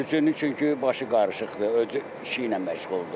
Sürücünün çünki başı qarışıqdır, öz işi ilə məşğuldur.